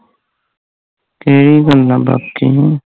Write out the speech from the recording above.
ਕੀ ਬਣਨਾ ਗਾ ਕੀ ਏ